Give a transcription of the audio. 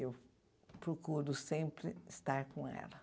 Eu procuro sempre estar com ela.